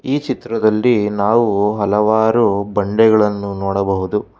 ಈ ಚಿತ್ರದಲ್ಲಿ ನಾವು ಹಲವಾರು ಬಂಡೆಗಳನ್ನು ನೋಡಬಹುದು.